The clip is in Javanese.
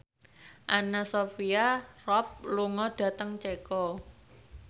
Anna Sophia Robb lunga dhateng Ceko